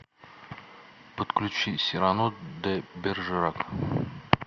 подключи сирано де бержерак